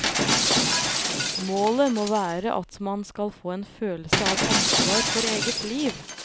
Målet må være at man skal få en følelse av ansvar for eget liv.